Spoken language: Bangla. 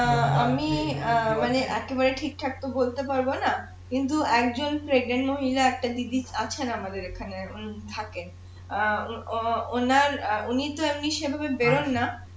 অ্যাঁ আমি অ্যাঁ একেবারে তো ঠিকঠাক তো বলতে পারবো না কিন্তু একজন মহিলা একজন দিদি আছে আমাদের এখানে উনি থাকেন অ্যাঁ ওনার উনিতো এমনি সেভাবে বের হননা